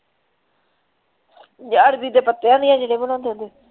ਯਾਰ ਜਿਹੜੇ ਬਣਾਉਂਦੇ ਹੁੰਦੇ।